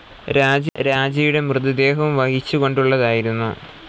രാജയുടെ മൃതദേഹവും വഹിച്ചു കൊണ്ടുള്ളതായിരുന്നു.